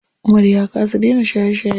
Umar ya kasa dena shaye shaye.